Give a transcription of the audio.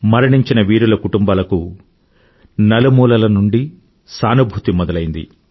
మరణించిన వీరుల కుటుంబాలకు నలుమూలల నుండీ సానుభూతి మొదలయింది